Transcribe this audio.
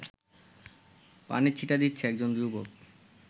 পানির ছিটা দিচ্ছে একজন যুবক